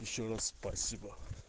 ещё раз спасибо